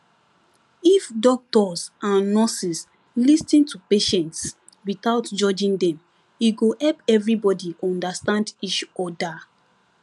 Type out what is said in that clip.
if doctors and nurses lis ten to patients without judging them e go help everybody understand each other